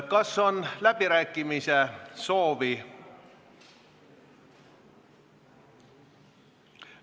Kas on läbirääkimiste soovi?